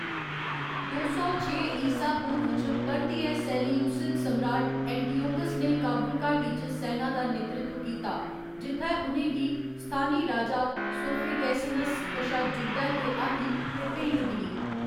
दो सौ छे ईसा पूर्व च परतियै सेलेयूसिद सम्राट एंटिओकस ने काबुल घाटी च सैना दा नेतृत्व कीता जित्थै उ'नें गी स्थानी राजा सोफेगैसेनस कशा जुद्धै दे हाथी ते भेंट मिली।